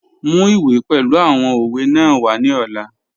Mu iwe pẹlu awọn owe naa wa ni ọla.